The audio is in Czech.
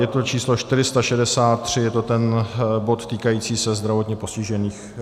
Je to číslo 463, je to ten bod týkající se zdravotně postižených.